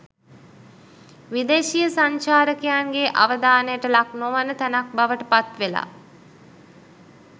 විදේශීය සංචාරකයින්ගේ අවධානයට ලක්නොවන තැනක් බවට පත්වෙලා